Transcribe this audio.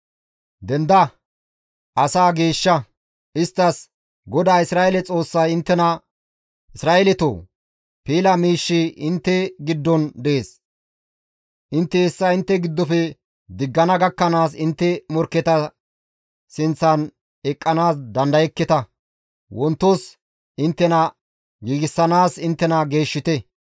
«Denda! Asaa geeshsha; isttas, ‹GODAA Isra7eele Xoossay inttena: Isra7eeletoo! Piila miishshi intte giddon dees; intte hessa intte giddofe diggana gakkanaas intte morkketa sinththan eqqanaas dandayekketa; wontos inttena giigsanaas inttena geeshshite.